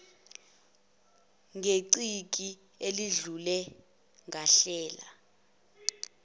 ngeciki eledlule ngahlela